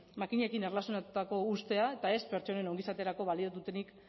makinekin erlazionatutako ustea eta ez pertsonen ongizaterako balio dutenik